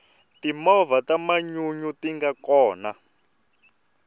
timovha ta manyunyu tinga kona